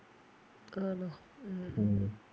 ആണോണാ ഉം ഉം